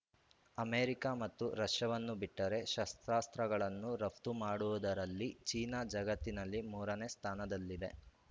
America ಮತ್ತು ರಷ್ಯಾವನ್ನು ಬಿಟ್ಟರೆ ಶಸ್ತ್ರಾಸ್ತ್ರಗಳನ್ನು ರಫ್ತು ಮಾಡುವುದರಲ್ಲಿ ಚೀನಾ ಜಗತ್ತಿನಲ್ಲಿ ಮೂರನೇ ಸ್ಥಾನದಲ್ಲಿದೆ